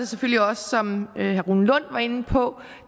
selvfølgelig også som herre rune lund var inde på